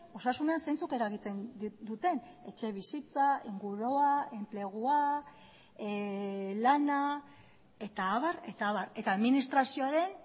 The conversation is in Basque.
osasunean zeintzuk eragiten duten etxebizitza ingurua enplegua lana eta abar eta abar eta administrazioaren